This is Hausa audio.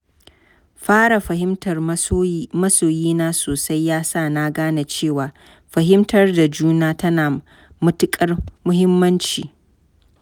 Fara fahimtar masoyina sosai ya sa na gane cewa fahimtar juna tana da matuƙar muhimmanci.